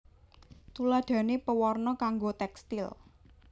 Tuladhané pewarna kanggo tékstil